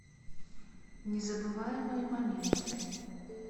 незабываемые моменты